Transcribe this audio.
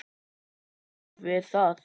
Ég stend við það.